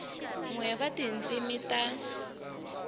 n we wa tindzimi ta